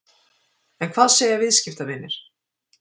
En hvað segja viðskiptavinir?